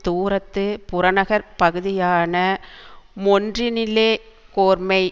தூரத்து புறநகர்ப்பகுதியான மொன்ரினிலே கோர்மெய்